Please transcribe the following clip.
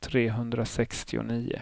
trehundrasextionio